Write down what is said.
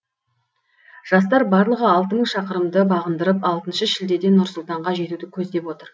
жастар барлығы алты мың шақырымды бағындырып алтыншы шілдеде нұр сұлтанға жетуді көздеп отыр